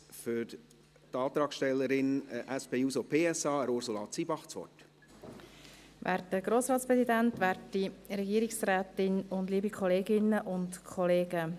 Ich erteile zuerst Ursula Zybach für die Antragstellerin, die SP-JUSO-PSA, das Wort.